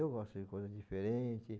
Eu gosto de coisas diferente.